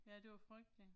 Ja det var frygteligt